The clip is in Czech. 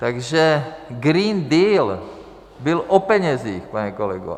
Takže Green Deal byl o penězích, pane kolego.